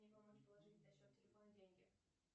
мне помочь положить на счет телефона деньги